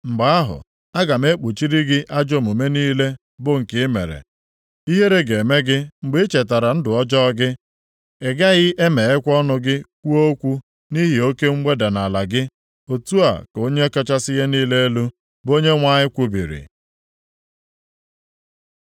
Mgbe ahụ, aga m ekpuchiri gị ajọ omume niile bụ nke ị mere. Ihere ga-eme gị mgbe i chetara ndụ ọjọọ gị, ị gaghị emeghekwa ọnụ gị kwuo okwu nʼihi oke mweda nʼala gị. Otu a ka Onye kachasị ihe niile elu, bụ Onyenwe anyị kwubiri.’ ”